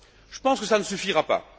Je pense que cela ne suffira pas.